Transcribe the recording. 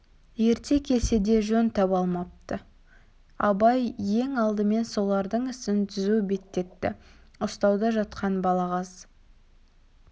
ерте келсе де жөн таба алмапты абай ең алдымен солардың ісін түзу беттетті ұстауда жатқан балағаз